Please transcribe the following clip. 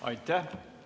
Aitäh!